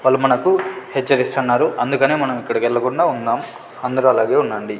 వాళ్ళు మనకు హెచ్చరిస్తున్నారు అందుకనే మనం ఇక్కడెల్లకుండా ఉందాం అందరూ అలాగే ఉండండి.